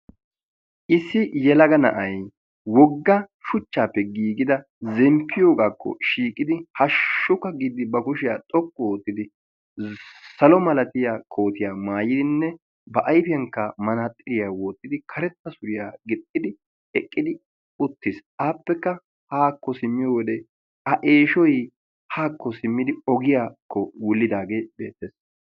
Issi yelaga na'ay wogga shuchchaappe giigida wogga zemppiyoogaakko shiiqidi haashshukka giiddi ba kushshiyaa xoqqu oottidi salo malatiyaa kootiyaa maayidinne ba ayfiyaankka manaaxiraa wottidi karetta suriyaa gixxidi eqqidi uttiis. appekka haa simmiyoo a eeshshoy ogiyaakko simmidi wulidaagee beettees.